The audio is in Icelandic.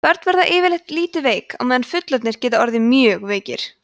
börn verða yfirleitt lítið veik á meðan fullorðnir geta orðið mjög veikir